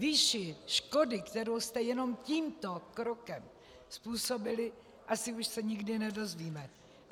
Výši škody, kterou jste jenom tímto krokem způsobili, asi už se nikdy nedozvíme.